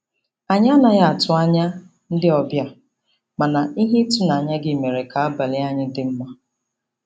Anyị anaghị atụ anya ndị obịa, mana ihe ịtụnanya gị mere ka abalị anyị dị mma.